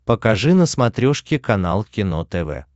покажи на смотрешке канал кино тв